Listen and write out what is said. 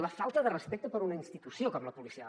la falta de respecte per una institució com la policial